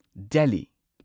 Delhi